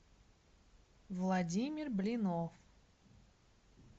владимир блинов